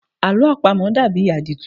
Àlọ́ àpamọ dàbí àdìtú.